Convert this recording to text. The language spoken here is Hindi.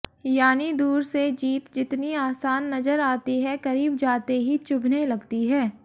यानि दूर से जीत जितनी आसान नजर आती है करीब जाते ही चुभने लगती है